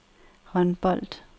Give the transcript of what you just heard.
håndbold